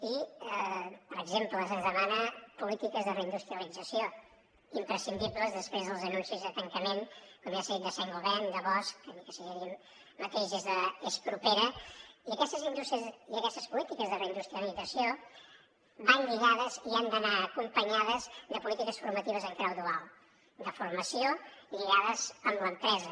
i per exemple se’ns demanen polítiques de reindustrialització imprescindibles després dels anuncis de tancament com ja s’ha dit de saint gobain de bosch ni que no sigui allí mateix és propera i aquestes polítiques de reindustrialització van lligades i han d’anar acompanyades de polítiques formatives en clau dual de formació lligades amb l’empresa